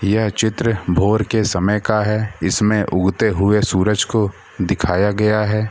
यह चित्र भोर के समय का है इसमें उगते हुए सूरज को दिखाया गया है।